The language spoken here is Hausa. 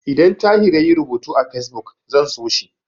Idan Tahir yayi rubutu a Fesbuk, zan so shi.